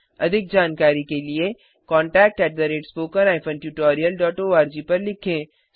अधिक जानकारी के लिए contactspoken tutorialorg पर लिखें